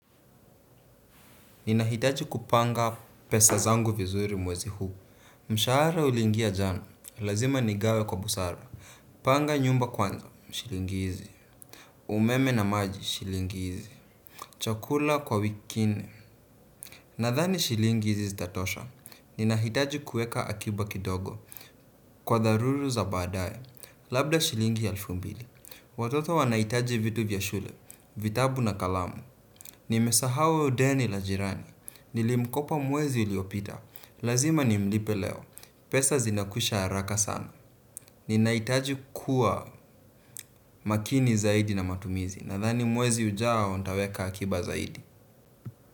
Ninahitaji kupanga pesa zangu vizuri mwezi huu. Mshara uliingia jana, lazima nigawe kwa busara. Panga nyumba kwanza, shilingi hizi umeme na maji, shilingi hizi chakula kwa wiki nne. Nathani shilingi hizi zitatosha. Ninahitaji kuweka akiba kidogo. Kwa tharuru za baadaye. Labda shilingi elfu mbili. Watoto wanahitaji vitu vya shule, vitabu na kalamu. Nimesahau deni la jirani. Nilimkopa mwezi uliopita. Lazima ni mlipe leo. Pesa zinakwisha haraka sana. Ninahitaji kuwa makini zaidi na matumizi. Nathani mwezi ujao nitaweka akiba zaidi.